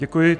Děkuji.